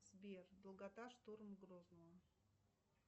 сбер долгота штурм грозного